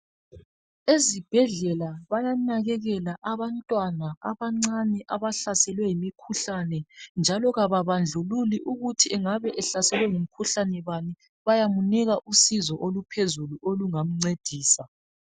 Ezibhedlela bayanakekela abantwana abancane abahlaselwe yimikhuhlane njalo ababandluli ukuthi engabe ehlaselwe ngumkhuhlane bani. Bayamnika usizo oluphezulu olungamncedisa.